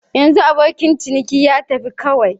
Yanxu abokin ciniki ya fita kawai.